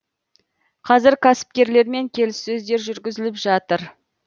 қазір кәсіпкерлермен келіссөздер жүргізіліп жатыр